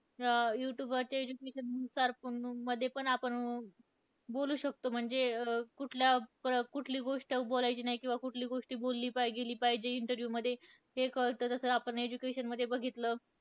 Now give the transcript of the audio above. अं youtube वरच्या education नुसार, पुन मध्ये पण आपण बोलू शकतो म्हणजे, कुठल्या प कुठली गोष्ट बोलायची नाही किंवा कुठली गोष्ट बोलली पाही गेली पाहिजे interview मध्ये हे कळतं तसंच आपण education मध्ये बघितलं.